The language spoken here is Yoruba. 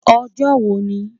Ojo wo ni?